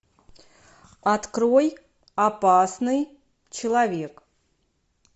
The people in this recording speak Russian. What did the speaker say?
открой опасный человек